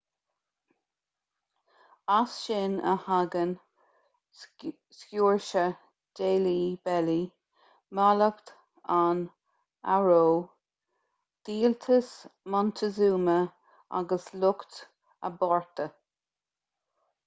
as sin a thagann sciúrse deilí belly mallacht an fharó díoltas montezuma agus lucht a bpáirte